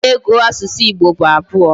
Two na ego na asusu Igbo bu abuo